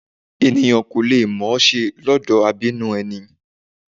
Èniyàn kì í mọ ọn ṣe lọ́dọ̀ abínú ẹni